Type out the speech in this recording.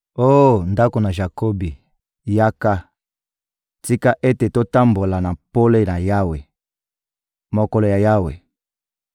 Oh ndako ya Jakobi, yaka, tika ete totambola na pole ya Yawe! Mokolo ya Yawe